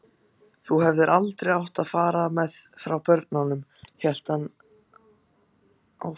Þú hefðir aldrei farið frá börnunum, hélt hann áfram.